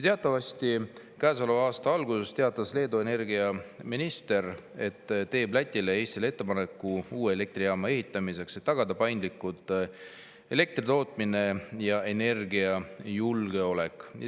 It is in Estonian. Teatavasti käesoleva aasta alguses teatas Leedu energiaminister, et teeb Lätile ja Eestile ettepaneku uue elektrijaama ehitamiseks, et tagada paindlik elektritootmine ja energiajulgeolek.